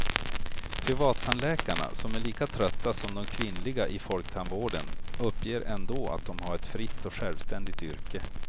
Privattandläkarna, som är lika trötta som de kvinnliga i folktandvården, uppger ändå att de har ett fritt och självständigt yrke.